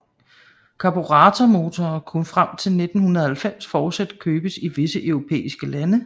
Karburatormotorer kunne frem til 1990 fortsat købes i visse europæiske lande